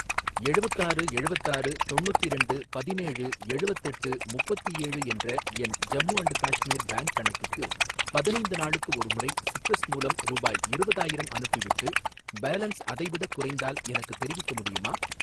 எழுவத்தாறு எழுவத்தாறு தொன்னுத்திரெண்டு பதினேழு எழுவத்தெட்டு முப்பத்தேழு என்ற என் ஜம்மு அண்ட் காஷ்மீர் பேங்க் கணக்குக்கு பதினைந்து நாளுக்கு ஒருமுறை சிட்ரஸ் மூலம் ரூபாய் இருவதாயிரம் அனுப்பிவிட்டு, பேலன்ஸ் அதைவிடக் குறைந்தால் எனக்குத் தெரிவிக்க முடியுமா?